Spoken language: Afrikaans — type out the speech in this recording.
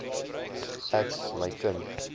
ek my kind